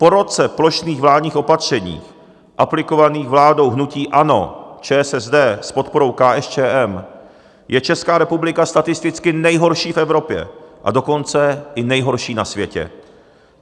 Po roce plošných vládních opatření, aplikovaných vládou hnutí ANO, ČSSD s podporou KSČM, je Česká republika statisticky nejhorší v Evropě, a dokonce i nejhorší na světě.